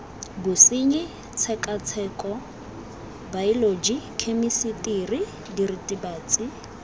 bosenyi tshekatsheko baeoloji khemisitiri diritibatsi